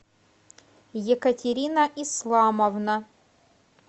екатерина исламовна